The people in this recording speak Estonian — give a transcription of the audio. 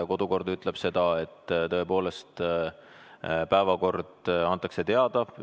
Ja kodukord ütleb seda, et tõepoolest päevakord antakse teada.